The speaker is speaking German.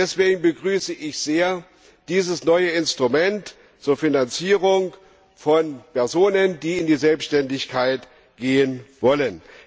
Deswegen begrüße ich dieses neue Instrument zur Finanzierung von Personen, die in die Selbständigkeit gehen wollen.